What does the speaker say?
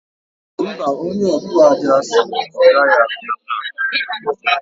Mba, onye òtụ̀ aja sịrị na ọ o gaghị abịa taa